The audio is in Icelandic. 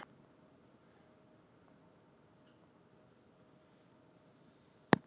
Er enginn svona skrekkur í þér?